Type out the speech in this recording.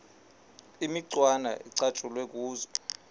imicwana ecatshulwe kuzo